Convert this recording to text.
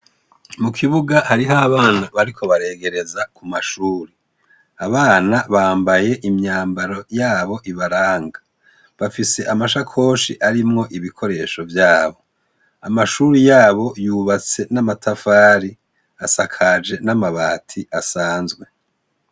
Mu kibuga hariho abana bariko baregereza ku mashuri. Abana bambaye imyambaro yabo ibaranga. Bafise amashakoshi arimwo ibikoresho vyabo. Amashuri yabo yubatse n'amatafari, asakaje n'amabati asanzwe.